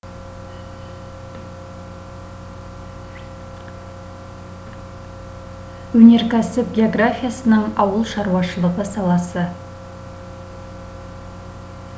өнеркәсіп географиясының ауыл шаруашылығы саласы